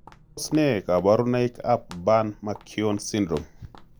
Tos ne kaborunoik ab burn mckeown syndrome?